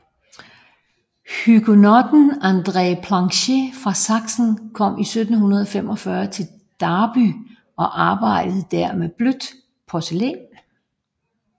Huguenotten André Planché fra Sachsen kom i 1745 til Derby og arbejdede der med blødt porcelæn